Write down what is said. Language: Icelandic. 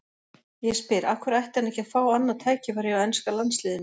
Ég spyr: Af hverju ætti hann ekki að fá annað tækifæri hjá enska landsliðinu?